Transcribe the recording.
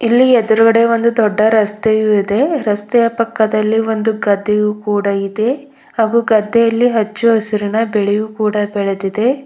ಇಲ್ಲಿ ಎದುರಗಡೆ ಒಂದು ದೊಡ್ಡ ರಸ್ತೆಯು ಇದೆ ರಸ್ತೆಯ ಪಕ್ಕದಲ್ಲಿ ಒಂದು ಗದ್ದಿಯು ಕೂಡ ಇದೆ ಹಾಗು ಗದ್ದೆಯಲ್ಲಿ ಹಚ್ಚು ಹಸಿರಿನ ಬೆಳೆಯೂ ಕೂಡ ಬೆಳದಿದೆ.